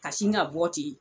Ka sin ka bɔ ten.